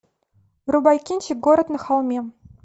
врубай кинчик город на холме